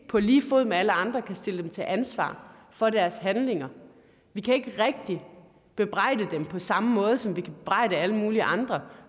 på lige fod med alle andre kan stille dem til ansvar for deres handlinger vi kan ikke rigtig bebrejde dem på samme måde som vi kan bebrejde alle mulige andre